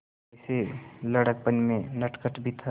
वैसे लड़कपन में नटखट भी था